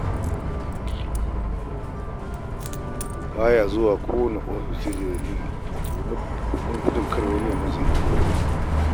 Ba ya zuwa kowane ofis sai da dalili domin kada ma wani ya yi masa hirar wani.